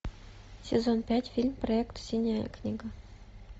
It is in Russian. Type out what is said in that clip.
сезон пять фильм проект синяя книга